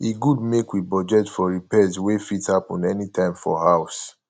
e good make we budget for repairs wey fit happen anytime for house